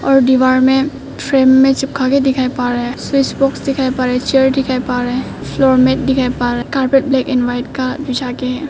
और दीवार में फ्रेम में चिपक के दिखाई पा रहे है स्विच बॉक्स दिखाई पा रहे हैं चेयर दिखाई पा रहे हैं फ्लोर मेंट दिखाई पा रहे है कारपेट ब्लैक एंड व्हाइट बिछा के है।